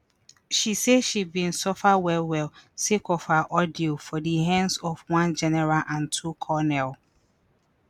she say she bin suffer well-well sake of her ordeal for di hands of one general and two colonel.